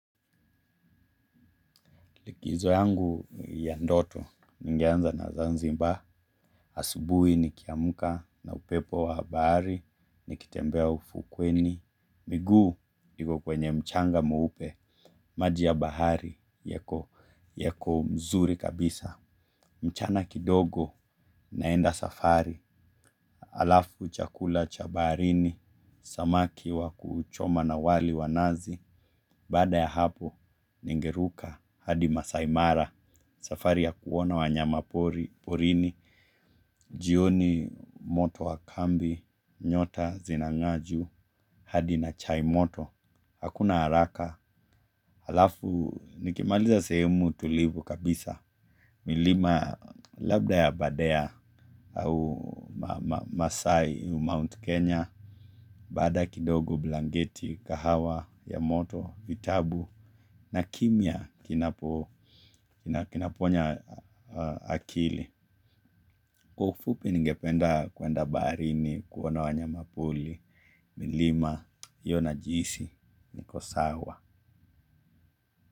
Likizo yangu ya ndoto, ningeanza na zanzibar. Asubuhi nikiamka na upepo wa bahari, ni kitembea ufukweni. Miguu iko kwenye mchanga mweupe, maji ya bahari, yako mzuri kabisa. Mchana kidogo naenda safari, alafu chakula chabaharini, samaki wa kuchoma na wali wanazi. Bada ya hapo, ningeruka, hadi Masaimara, safari ya kuona wanyama pori, porini jioni moto wakambi, nyota, zinang'aa juu, hadi na chaimoto. Hakuna haraka, alafu nikimaliza sehemu tulivu kabisa. Milima labda ya Badea au Masai, Mount Kenya. Badae kidogo blangeti, kahawa, ya moto, vitabu na kimya kinaponya akili. Kwa ufupi ningependa kwenda baharini, kuona wanya pori. Milima, hiyo najihisi, nikosawa.